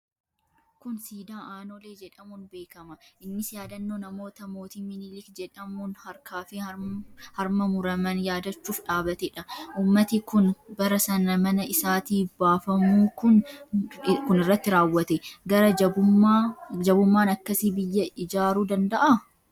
Kun siidaa Aanolee jedhamuun beekama. Innis yaadannoo namoota mootii minilik jedhamuun harkaa fi harma muraman yaadachuuf dhaabatedha. Uummati kun bara sana mana isaatii baafamuun kun irratti raawwate. Gara jabummaan akkasii biyya ijaaruu danda'aa?